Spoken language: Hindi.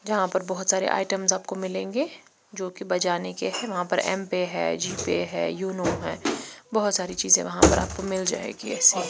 जहाँ पर बहुत सारे आइटम्स आपको मिलेंगे जो कि बजाने के है जहाँ पर एमपे है यु यूनो है बहुत सारी चीजें वहाँ पर आपको मिल जाएगी ऐसे--